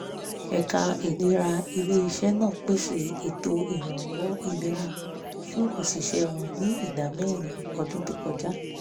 ẹ̀ka ìlera ilé-iṣẹ́ náà pèsè ètò ìrànwọ́ ìlera fún òṣìṣẹ́ wọn ní ìdá mẹ̀rin ọdún tó kọjá